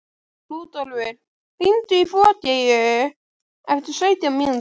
Rúdólf, hringdu í Bogeyju eftir sautján mínútur.